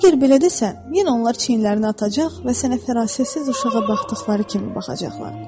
Əgər belə desən, yenə onlar çiynlərini atacaq və sənə fərasətsiz uşağa baxdıqları kimi baxacaqlar.